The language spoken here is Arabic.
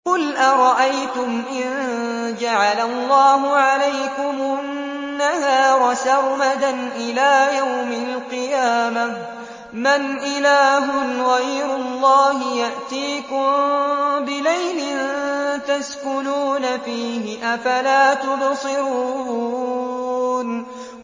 قُلْ أَرَأَيْتُمْ إِن جَعَلَ اللَّهُ عَلَيْكُمُ النَّهَارَ سَرْمَدًا إِلَىٰ يَوْمِ الْقِيَامَةِ مَنْ إِلَٰهٌ غَيْرُ اللَّهِ يَأْتِيكُم بِلَيْلٍ تَسْكُنُونَ فِيهِ ۖ أَفَلَا تُبْصِرُونَ